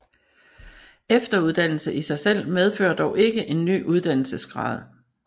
Efteruddannelse i sig selv medfører dog ikke en ny uddannelsesgrad